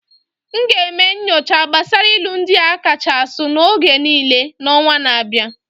I will do research on the most widely used proverbs of all time next month.